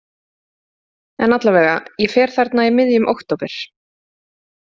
En allavega, ég fer þarna í miðjum október.